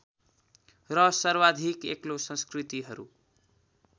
र सर्वाधिक एक्लो संस्कृतिहरू